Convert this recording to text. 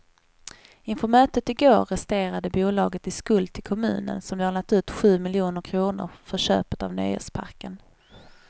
Inför mötet i går resterade bolaget i skuld till kommunen som lånat ut sju miljoner kronor för köpet av nöjesparken.